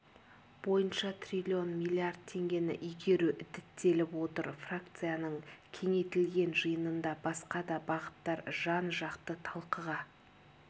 бойынша трлн млрд теңгені игеру діттеліп отыр фракцияның кеңейтілген жиынында басқа да бағыттар жан-жақты талқыға